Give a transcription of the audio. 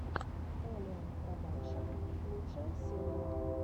эллиэнн продакшн лучшая серия